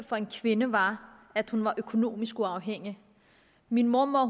for en kvinde var at hun var økonomisk uafhængig min mormor